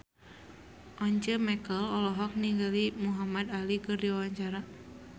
Once Mekel olohok ningali Muhamad Ali keur diwawancara